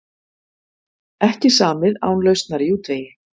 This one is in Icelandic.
Ekki samið án lausnar í útvegi